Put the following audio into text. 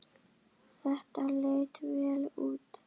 Þetta leit vel út.